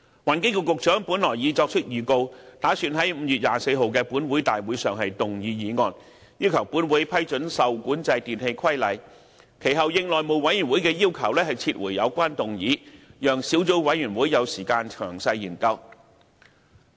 環境局局長本來已作出預告，打算在5月24日的立法會大會上動議議案，要求本會批准《受管制電器規例》，其後應內務委員會的要求撤回有關議案，讓小組委員會有時間詳細研究。